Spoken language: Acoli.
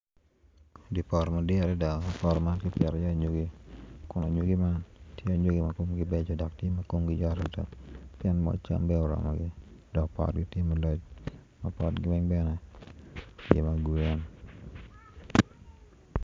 Di poto madit adada ma kipito iye anyogi anyogi man tye anyogi ma komgi beco dok komgi yot adada tye ma moc cam oromo adada dok potgi tye mulac ma potgi weng bene tye ma grin.